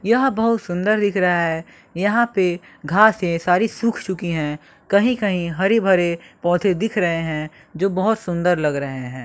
यह बहुत सुंदर दिख रहा है यहां पे घासे सारी सूख चुकी हैं कहीं कहीं हरी भरे पौधे दिख रहे हैं जो बहुत सुंदर लग रहे हैं।